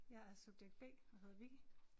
Jeg er subjekt B og hedder Vicki